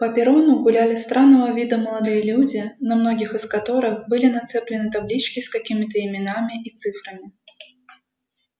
по перрону гуляли странного вида молодые люди на многих из которых были нацеплены таблички с какими-то именами и цифрами